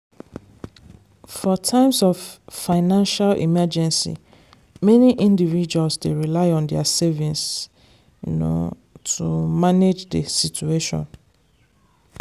for times of financial emergency many individuals dey rely on their savings to manage the situation.